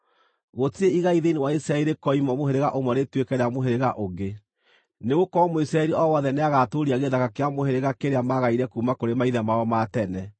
Gũtirĩ igai thĩinĩ wa Isiraeli rĩkoima mũhĩrĩga ũmwe rĩtuĩke rĩa mũhĩrĩga ũngĩ, nĩgũkorwo Mũisiraeli o wothe nĩagatũũria gĩthaka kĩa mũhĩrĩga kĩrĩa maagaire kuuma kũrĩ maithe mao ma tene.